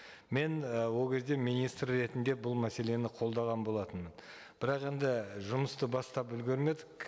мен і ол кезде министр ретінде бұл мәселені қолдаған болатынмын бірақ енді жұмысты бастап үлгермедік